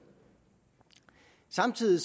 samtidig